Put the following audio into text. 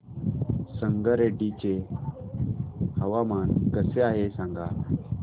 संगारेड्डी चे हवामान कसे आहे सांगा